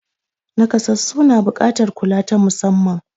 Naƙasassu na buƙatar kula ta musamman.